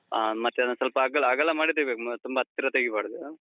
ಹಾ. ಮತ್ತೆ ಅದನ್ ಸ್ವಲ್ಪ ಅಗ್ಲ, ಅಗಲ ಮಾಡಿ ತೆಗಿಬೇಕ್ ಅಹ್ ತುಂಬಾ ಹತ್ತಿರ ತೆಗೀಬಾರ್ದು.